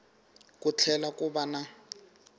ku tlhela ku va na